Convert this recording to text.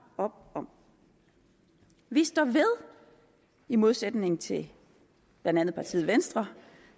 op om vi står ved i modsætning til blandt andet partiet venstre